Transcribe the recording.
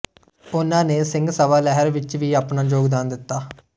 ਉਹਨਾਂ ਨੇ ਸਿੰਘ ਸਭਾ ਲਹਿਰ ਵਿੱਚ ਵੀ ਆਪਣਾ ਯੋਗਦਾਨ ਦਿੱਤਾ